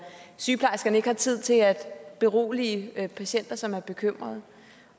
sygeplejerskerne ikke har tid til at berolige patienter som er bekymrede